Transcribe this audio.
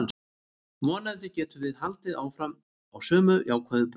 Vonandi getum við haldið áfram á sömu jákvæðu braut.